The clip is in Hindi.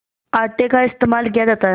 आटे का इस्तेमाल किया जाता है